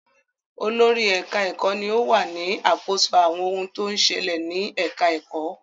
Olórí ẹ̀ka-ẹ̀kọ́ ni ó wà ní àkóso àwọn ohun tó ń ṣẹlẹ̀ ní ẹ̀ka-ẹ̀kọ́.